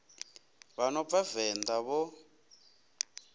vha no bva venḓa vho